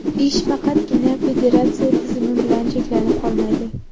Ish faqatgina federatsiya tizimi bilan cheklanib qolmaydi.